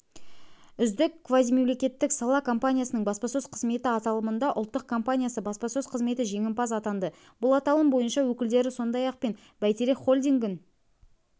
үздік квазимемлекеттік сала компаниясының баспасөз қызметі аталымында ұлттық компаниясы баспасөз қызметі жеңімпаз атанды бұл аталым бойынша өкілдері сондай-ақ пен бәйтерек холдингін